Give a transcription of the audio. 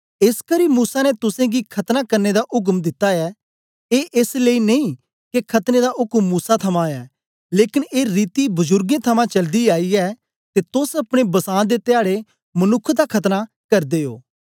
एसकरी मूसा ने तुसेंगी खतना करने दा उक्म दिता ऐ ए एस लेई नेई के खतने दा उक्म मूसा थमां ऐ लेकन ए रीति बजुर्गें थमां चलदी आई ऐ ते तोस अपने बसां दे ध्याडे मनुक्ख दा खतना करदे ओ